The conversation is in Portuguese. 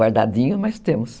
Guardadinho, mas temos.